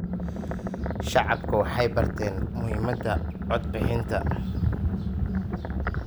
Shacabku waxay barteen muhiimadda cod bixinta.